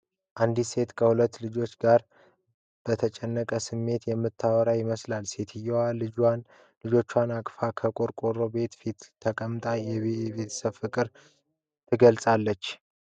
አንዲት ሴት ከሁለት ልጆች ጋር በተጨነቀ ስሜት የምታወራ ይመስላል፤ ሴትዮዋ ልጆቹን አቅፋ ከቆርቆሮ ቤት ፊት ተቀምጣ የቤተሰብ ፍቅርን አትገልጽም ?